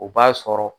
O b'a sɔrɔ